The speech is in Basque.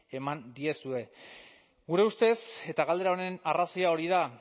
eman diezu gure ustez eta galdera honen arrazoia hori da